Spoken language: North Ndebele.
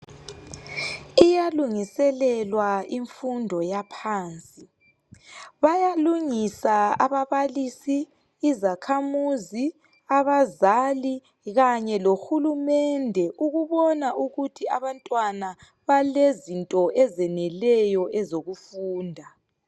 Iyalungiselelwa imfundo yaphansi. Bayalungisa ababalisi , izakhamuzi , abazali kanye lohulumende ukubona ukuthi abantwana balezinto ezeneleyo ezokufunda.